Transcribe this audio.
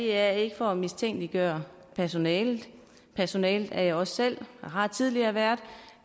er ikke for at mistænkeliggøre personalet personale er jeg også selv og har tidligere været